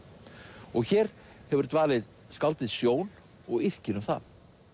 og hér hefur dvalið skáldið Sjón og yrkir um það